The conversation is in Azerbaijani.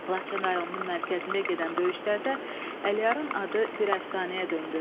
Laçın rayonunun mərkəzində gedən döyüşlərdə Əliyarın adı bir əfsanəyə döndü.